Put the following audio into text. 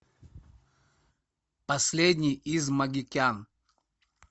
последний из магикян